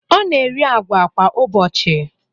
Ọ na-eri agwa kwa ụbọchị.